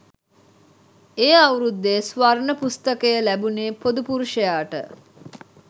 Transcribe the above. ඒ අවුරුද්දෙ ස්වර්ණ පුස්තකය ලැබුණෙ පොදු පුරුෂයාට